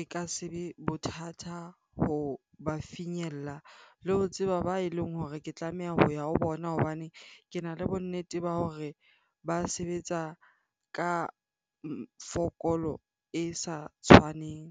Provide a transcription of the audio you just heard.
e ka se be bothata ho ba finyella le ho tseba ba e leng hore ke tlameha ho ya ho bona. Hobane kena le bonnete ba hore ba sebetsa ka fokolo e sa tshwaneng.